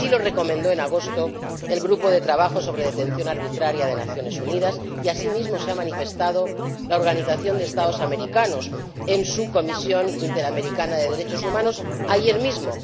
Así lo recomendó en agosto el Grupo de Trabajo sobre la Detención Arbitraria de las Naciones Unidas y asimismo se ha manifestado la Organización de Estados Americanos en su Comisión Interamericana de Derechos Humanos ayer mismo.